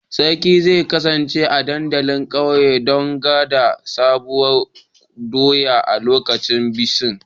Sarki zai kasance a dandalin ƙauye don gwada Sabuwar doya a lokacin bikin